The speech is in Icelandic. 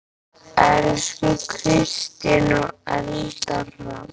Elsku Kristín og Eldar Hrafn.